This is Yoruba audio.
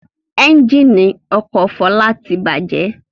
Ẹ́ńjínì ọkọ̀ Fọlá ti bàjẹ́.